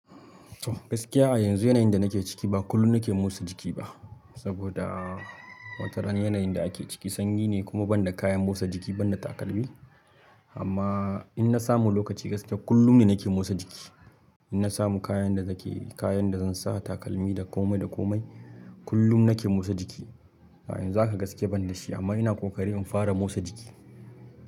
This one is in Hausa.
Gaskiya a yanzu yanayin da nake ciki ba kullum nake motsa jiki ba, saboda watarana yanayin da ake ciki sanyi ne kuma ban da kayan motsa jiki ban da takalmi. Amma inna samu lokaci gaskiya kullum ne nake motsa jiki. In na samu kayan da nake, kayan da zan sa takalmi da komai da komai kullum nake motsa jiki. Yanzu haka gaskiya ban da shi amma ina ƙoƙari in fara motsa jiki.